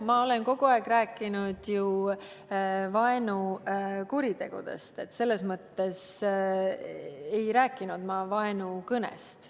Ma olen ju kogu aeg rääkinud vaenukuritegudest, ma ei rääkinud vaenukõnest.